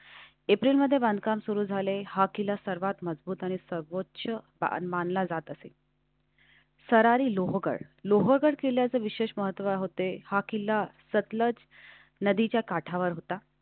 अप्रिल मध्ये बांधकाम सुरू झाले. हा किल्ला सर्वात मजबूत आणि सर्वोच्च मानला जात असेल. सरारी लोहगड लोहगड केल्याचं विशेष महत्त्व होते हा किल्ला सतलज नदीच्या काठावर होता.